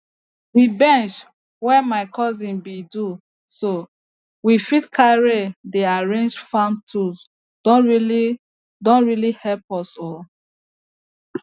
the bench wey my cousin bin do so we fit carry dey arrange farm tools don really don really help us o